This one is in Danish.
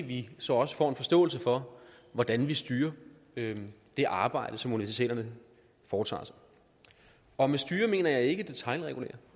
vi så også får en forståelse for hvordan vi styrer det arbejde som universiteterne foretager sig og med styre mener jeg ikke detailregulere